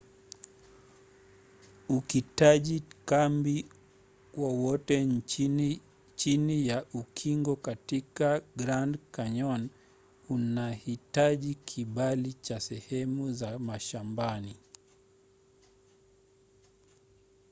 ukitaji kambi wowote chini ya ukingo katika grand canyon unahitaji kibali cha sehemu za mashambani